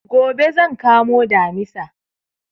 Gobe zan kamo Damisa